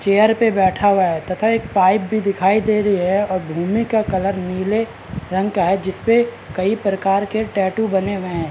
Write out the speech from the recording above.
Chair पे बैठा हुआ है तथा एक पाइप भी दिखाई दे रही है और भूमि का कलर नीले रंग का है जिसपे कई प्रकार के टैटू बने हुए हैं।